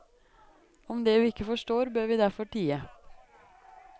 Om det vi ikke forstår, bør vi derfor tie.